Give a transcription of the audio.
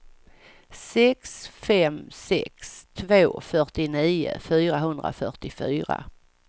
sex fem sex två fyrtionio fyrahundrafyrtiofyra